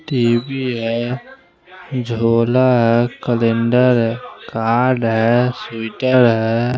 TV है जुला है कैलंडर है कार्ड है स्वेटर है।